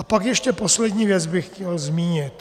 A pak ještě poslední věc bych chtěl zmínit.